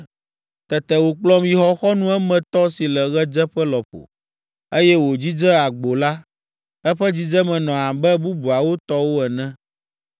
Tete wòkplɔm yi xɔxɔnu emetɔ si le ɣedzeƒe lɔƒo, eye wòdzidze agbo la; eƒe dzidzeme nɔ abe bubuawo tɔwo ene.